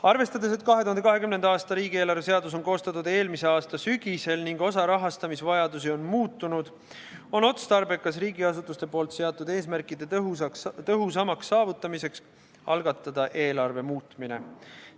Arvestades, et 2020. aasta riigieelarve seadus on koostatud eelmise aasta sügisel ning osa rahastamisvajadusi on muutunud, on otstarbekas riigiasutuste poolt seatud eesmärkide tõhusamaks saavutamiseks algatada eelarve muutmine.